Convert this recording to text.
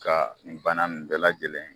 Ka bana nin bɛɛ lajɛlen.